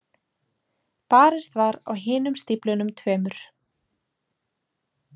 Barist var á hinum stíflunum tveimur.